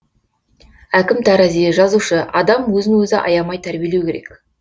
әкім тарази жазушы адам өзін өзі аямай тәрбиелеу керек